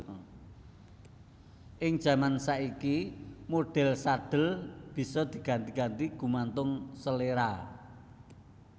Ing jaman saiki modhèl sadhel bisa diganti ganti gumantung seléra